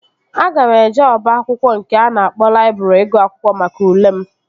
Aga m eje oba akwụkwọ nke a na-akpọ laịbrị ịgụ akwụkwọ maka ule m